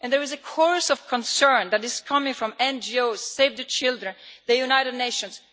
There is a chorus of concern that is coming from NGOs, Save the Children and the United Nations.